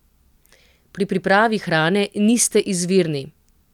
Pri pripravi hrane niste izvirni.